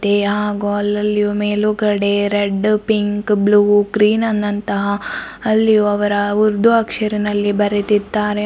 ಹಾಗೂ ಅಲ್ಲಲ್ಲಿಯೂ ಮೇಲುಗಡೆ ರೆಡ್ ಪಿಂಕ್ ಬ್ಲೂ ಗ್ರೀನ್ ನ ನಂತಹ ಅಲ್ಲಿಯು ಅವರ ಉರ್ದು ಅಕ್ಷರನಲ್ಲಿ ಬರೆದಿದ್ದಾರೆ.